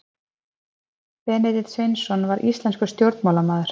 benedikt sveinsson var íslenskur stjórnmálamaður